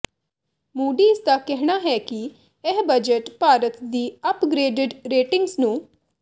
Moody's ਦਾ ਕਹਿਣਾ ਹੈ ਕਿ ਇਹ ਬਜਟ ਭਾਰਤ ਦੀ ਅਪਗਰੇਡੇਡ ਰੇਟਿੰਗਸ ਨੂੰ